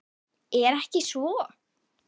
Er ekki svo?